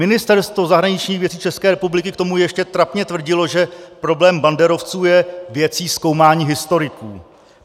Ministerstvo zahraničních věcí České republiky k tomu ještě trapně tvrdilo, že problém banderovců je věcí zkoumání historiků.